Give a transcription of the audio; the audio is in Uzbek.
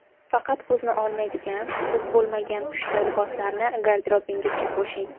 Faqat ko‘zni olmaydigan, to‘q bo‘lmagan pushti liboslarni garderobingizga qo‘shing.